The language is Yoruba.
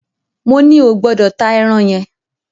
Moní o gbọ́dọ̀ ta ẹran yẹn!